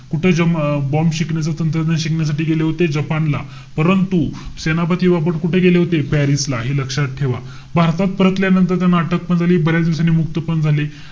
कुठं ज~ अं bomb शिकण्याचं तंत्रज्ञान शिकण्यासाठी गेले होते जपानला. परंतु, सेनापती बापट कुठे गेले होते? पॅरिस ला. हे लक्षात ठेवा. भारतात परतल्यानंतर त्यांना अटक पण झाली. बऱ्याच दिवसांनी मुक्त पण झाले.